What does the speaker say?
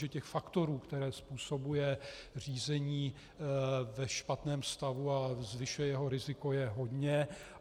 Že těch faktorů, které způsobuje řízení ve špatném stavu a zvyšuje jeho riziko, je hodně.